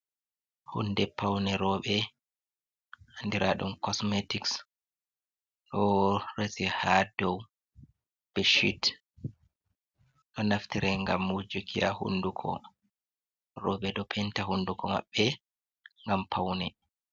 Hunde paune Rooɓe, andira ɗum cosmetics ɗo rese ha dou beshit, ɗo naftire ngam wujuki ha hunduko, rooɓe ɗo penta hunduko maɓɓe ngam paune.